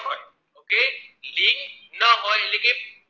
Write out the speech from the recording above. લિંગ ન હોય એટલે કે